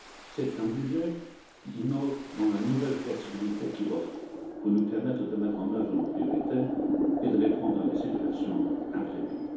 C'est un budget qui innove dans la nouvelle flexibilité qu'il offre pour nous permettre de mettre en œuvre nos priorités et de répondre à des situations imprévues.